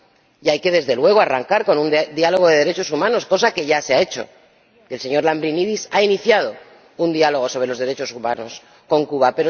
Y hay que, desde luego, arrancar con un diálogo de derechos humanos, cosa que ya se ha hecho el señor Lambrinidis ha iniciado un diálogo sobre los derechos humanos con Cuba.